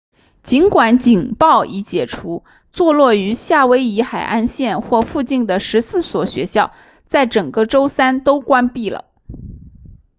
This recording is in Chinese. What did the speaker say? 尽管警报已解除坐落于夏威夷海岸线或附近的14所学校在整个周三都关闭了